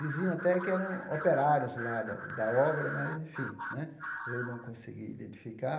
Diziam até que eram operários lá da da obra, mas, enfim né, eu não consegui identificar.